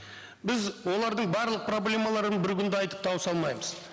біз олардың барлық проблемаларын бір күнде айтып тауыса алмаймыз